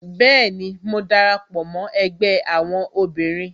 Bẹẹni, mo dara pọ mó ẹgbẹ́ àwọn obìnrin